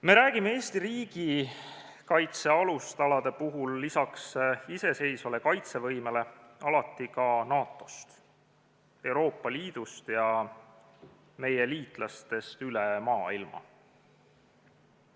Me räägime Eesti riigikaitse alustalade puhul lisaks iseseisvale kaitsevõimele alati ka NATO-st, Euroopa Liidust ja meie liitlastest üle maailma.